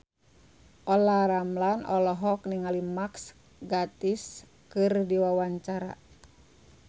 Olla Ramlan olohok ningali Mark Gatiss keur diwawancara